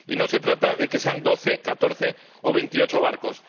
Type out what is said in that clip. Y no se trata de que sean doce, catorce o veintiocho barcos.